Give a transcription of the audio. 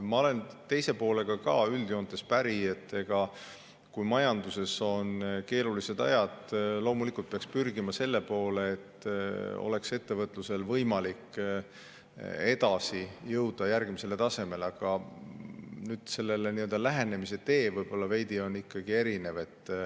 Ma olen teise poolega ka üldjoontes päri – kui majanduses on keerulised ajad, siis loomulikult peaks pürgima selle poole, et ettevõtlusel oleks võimalik jõuda järgmisele tasemele –, aga sellele lähenemise tee on meil võib-olla ikkagi veidi erinev.